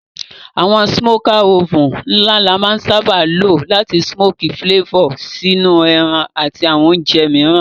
Àwon smoker oven la má n sábá lo làti smoky flavor sínú ẹran àti àwon ounje mìíràn